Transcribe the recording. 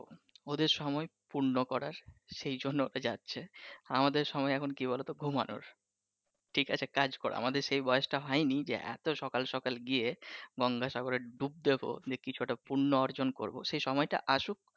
ওদের সময় পূর্ণ করার সে জন্য ওতে যাচ্ছে আমাদের সময় এখন কি বলতো ঘুমানোর। ঠিক আছে কাজ করার আমাদের সে বয়সটা হয়নি যে এতো সকাল সকাল গিয়ে গঙ্গা সাগরে ডুব দিব কিছু একটা পূর্ণ অর্জন করবো সেই সময়টা আসুক।